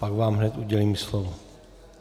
Pak vám hned udělím slovo.